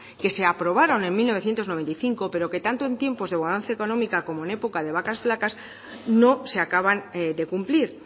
que se aprobaron en mil novecientos noventa y cinco pero que tanto en tiempos de bonanza económica como en época de vacas flacas no se acaban de cumplir